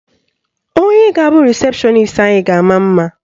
Onye ga-abụ rịsepshọnis anyị ga-ama mma.